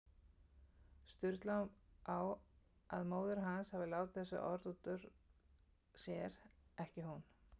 Sturlu á að móðir hans hafi látið þessi orð út úr sér, ekki hún.